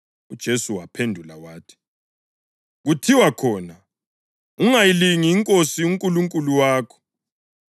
UJesu waphendula wathi “Kuthiwa khona, ‘Ungayilingi iNkosi uNkulunkulu wakho.’ + 4.12 UDutheronomi 6.16 ”